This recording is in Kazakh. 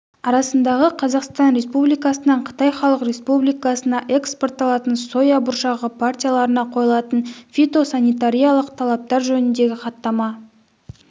арасындағы қазақстан республикасынан қытай халық республикасына экспортталатын соя бұршағы партияларына қойылатын фитосанитариялық талаптар жөніндегі хаттама